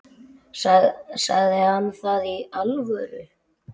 Sagði hann það í alvöru?